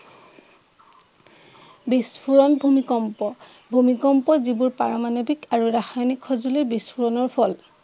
বিস্ফোৰণ ভূমিকম্প ভূমিকম্প যিবোৰ পাৰমাণৱিক আৰু ৰাসায়নিক সঁজুলীৰ বিস্ফোৰণৰ ফল।